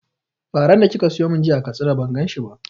Faran da kika siyo mun jiya a Katsina ban gan shi ba